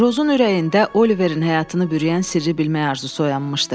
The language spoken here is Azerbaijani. Rozun ürəyində Oliverin həyatını bürüyən sirri bilmək arzusu oyanmışdı.